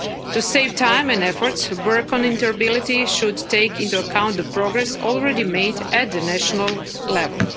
To save time and effort, work on interoperability should take into account the progress already made at the national level.